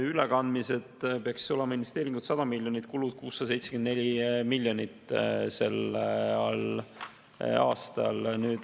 Ülekandmiseks peaks olema investeeringuid 100 miljonit, kulusid 674 miljonit.